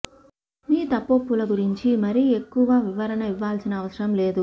్య మీ తప్పొప్పుల గురించి మరీ ఎక్కువ వివరణ ఇవ్వాల్సిన అవసరం లేదు